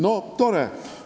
No tore!